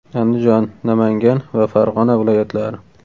Andijon, Namangan va Farg‘ona viloyatlari.